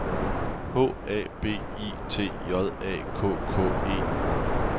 H A B I T J A K K E